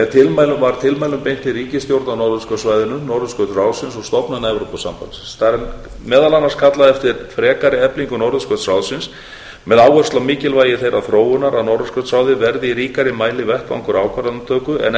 tólf var tilmælum beint til ríkisstjórna á norðurskautssvæðinu norðurskautsráðsins og stofnana evrópusambandsins þar er meðal annars kallað eftir frekari eflingu norðurskautsráðsins með áherslu á mikilvægi þeirrar þróunar að norðurskautsráðið verði í ríkari mæli vettvangur ákvarðanatöku en